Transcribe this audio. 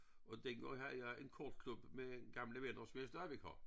Og dengang havde jeg en kortklub med gamle venner som jeg stadigvæk har